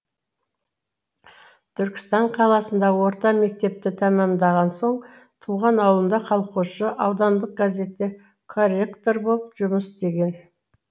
түркістан қаласында орта мектепті тәмамдаған соң туған ауылында колхозшы аудандық газетте корректор болып жұмыс істеген